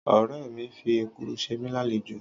ọ̀rẹ́ mìi fi Èkuru se mí lálejò